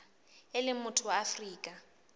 e leng motho wa afrika